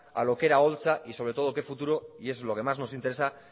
a lo que era holtza y sobre todo qué futuro y es lo que más nos interesa